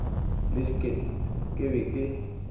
le diket ke be ke